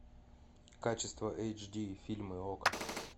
качество эйч ди фильмы окко